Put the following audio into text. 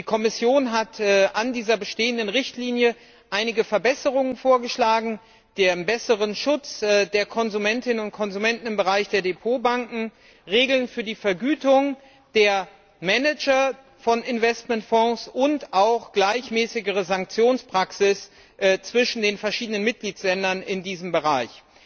Die Kommission hat zu dieser bestehenden Richtlinie einige Verbesserungen vorgeschlagen, die einen besseren Schutz der Konsumentinnen und Konsumenten im Bereich der Depotbanken, Regeln für die Vergütung der Manager von Investmentfonds und auch eine gleichmäßigere Sanktionspraxis zwischen den verschiedenen Mitgliedstaaten in diesem Bereich